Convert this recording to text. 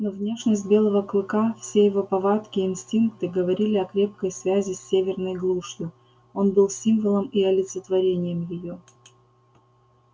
но внешность белого клыка все его повадки и инстинкты говорили о крепкой связи с северной глушью он был символом и олицетворением её